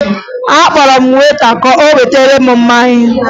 Akpọrọ m weta ka o wetara m mmanya